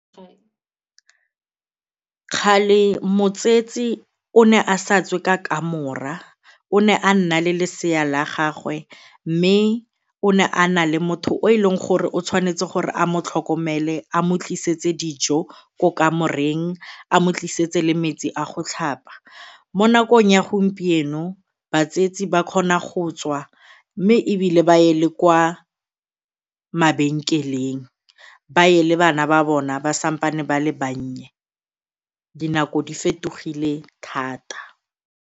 Kgale motsetsi o ne a sa tswe ka kamora, o ne a nna le lesea la gagwe mme o ne a na le motho o e leng gore o tshwanetse gore a mo tlhokomele a mo tlisetse dijo ko kamoreng a mo tlisetse le metsi a go tlhapa. Mo nakong ya gompieno batswetsi ba kgona go tswa mme ebile baye le kwa mabenkeleng ba ye le bana ba bona ba santsane ba le bannye, dinako di fetogile thata.